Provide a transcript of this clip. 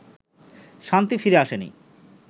শান্তি ফিরে আসেনি